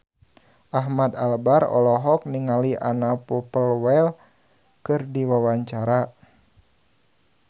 Ahmad Albar olohok ningali Anna Popplewell keur diwawancara